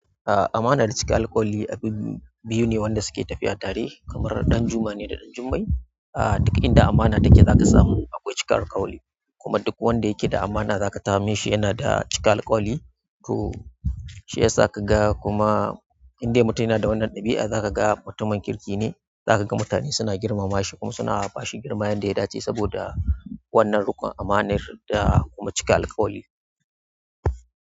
A'a, amana da cika alkawali abubuwa biyu ne wanda suke tafiya tare. Kamar ɗan juma ne da ɗan jummai. A duk inda amana take za ka samu akwai cika alkawali. Kuma duk wanda yake da amana za ka same shi yana da cika alkawali. To shi yasa ka ga kuma indai mutum yana da wannan ɗabi'a za ka ga mutumin kirki ne. Za ka ga mutane suna girmama shi kuma suna ba shi girma yanda ya dace saboda wannan ruƙon, amanar da kuma cika alkawali.